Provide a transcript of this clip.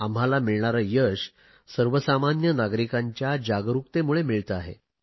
आम्हाला मिळणारे यश सर्वसामान्य नागरिकांच्या जागरुकतेमुळे मिळते आहे